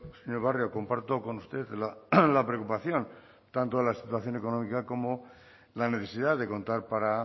señor barrio comparto con usted la preocupación tanto de la situación económica como la necesidad de contar para